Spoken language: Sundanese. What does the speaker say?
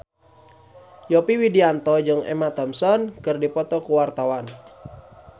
Yovie Widianto jeung Emma Thompson keur dipoto ku wartawan